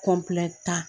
ta